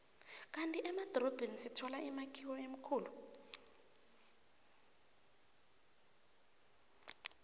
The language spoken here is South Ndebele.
kandi emadorobheni sithola imakhiwo emikhulu